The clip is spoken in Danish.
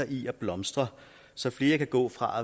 i at blomstre så flere kan gå fra